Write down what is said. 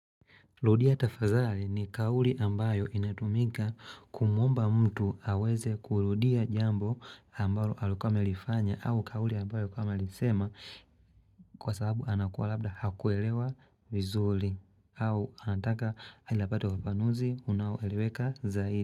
Ludia tafazali ni kauli ambayo inatumika kumuomba mtu haweze kurudia jambo ambalo alokuama lifanya au kauli ambayo kama lisema kwa sababu anakuwa labda hakuwelewa vizuli au anataka ilapate ufafanuzi unaoeleweka zaidi.